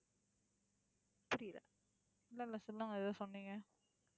இல்லை இல்லை ஏதோ சொன்னிங்க